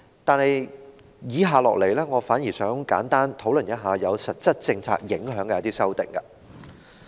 但是，我接下來想簡單討論有實質政策影響的修訂。